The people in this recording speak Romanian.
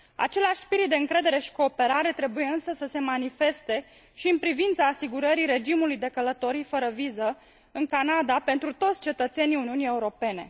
Același spirit de încredere și cooperare trebuie, însă, să se manifeste și în privința asigurării regimului de călătorii fără viză în Canada pentru toți cetățenii Uniunii Europene.